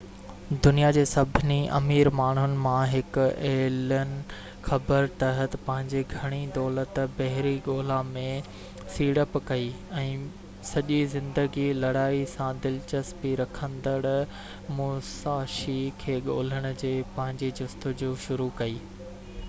دنيا جي سڀني امير ماڻهن مان هڪ ايلن خبر تحت پنهنجي گهڻي دولت بحري ڳولا ۾ سيڙپ ڪئي ۽ سڄي زندگي لڙائي سان دلچسپي رکندڙ موساشي کي ڳولڻ جي پنهنجي جستجو شروع ڪئي